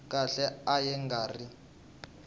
khale a ya nga ri